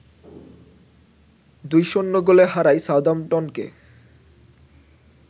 ২-০ গোলে হারায় সাউদাম্পটনকে